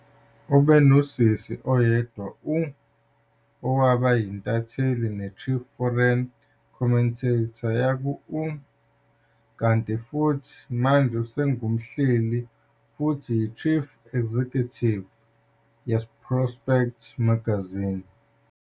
Ube nosisi oyedwa u, , owaba yintatheli, ne-Chief Foreign Commentator yaku ' kanti futhi manje usengumhleli futhi uyi-Chief Executive ye-Prospect Magazine.